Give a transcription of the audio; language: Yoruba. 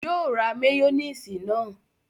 Yóò ra máyónísì náà